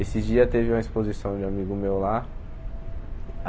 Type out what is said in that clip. Esses dias teve uma exposição de um amigo meu lá.